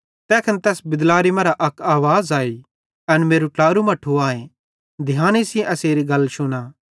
तैखन तैस बिदलारी मरां अक आवाज़ अई एन मेरू ट्लारू मट्ठू आए ध्याने सेइं एसेरी गल शुना